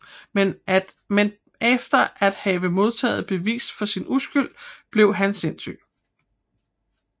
Men efter at have modtaget bevis for sin uskyld bliver han sindssyg